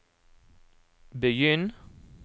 begynn